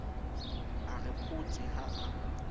a re photse ha a